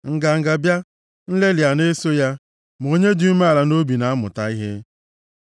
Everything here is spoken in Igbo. Nganga bịa, nlelị a na-eso ya, ma onye dị umeala nʼobi na-amụta ihe.